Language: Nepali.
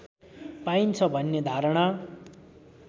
पाइन्छ भन्ने धारणा